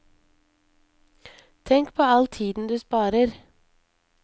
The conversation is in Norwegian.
Tenk på all tiden du sparer.